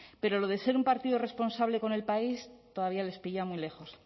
pero lo de ser un partido responsable con el país todavía les pilla muy lejos